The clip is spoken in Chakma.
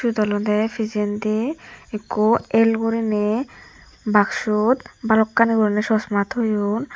siyot olodey pijendi ikko el guriney baksut balokkani guriney chosma toyon.